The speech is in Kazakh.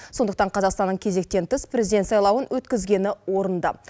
сондықтан қазақстанның кезектен тыс президент сайлауын өткізгені орынды